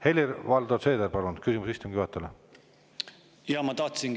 Helir-Valdor Seeder, palun, küsimus istungi juhatajale!